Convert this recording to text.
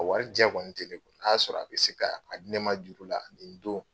O wɔri jɛ kɔni te ne kun. N'o y'a sɔrɔ a be se k'aa a di ne ma juru la nin don